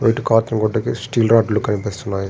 Red cloth ఇంకా steel రాడ్లు కనిపిస్తున్నాయి.